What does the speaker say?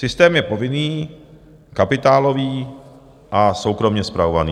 Systém je povinný, kapitálový a soukromě spravovaný.